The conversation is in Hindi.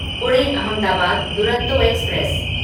पुणे अहमदाबाद दुरंतो एक्सप्रेस